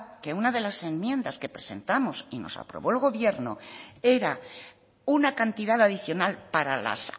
que una de las enmiendas que presentamos y nos aprobó el gobierno era una cantidad adicional para las